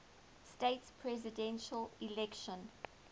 states presidential election